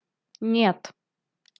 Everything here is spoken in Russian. нет